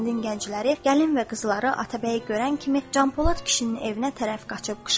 Kəndin gəncləri, gəlin və qızları Atabəyi görən kimi Canpolad kişinin evinə tərəf qaçdı.